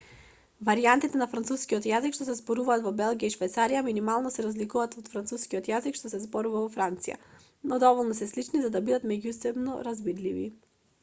варијантите на францускиот јазик што се зборуваат во белгија и швајцарија минимално се разликуваат од францускиот јазик што се зборува во франција но доволно се слични за да бидат меѓусебно разбирливи